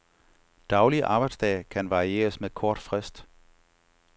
Daglig arbejdsdag kan varieres med kort frist.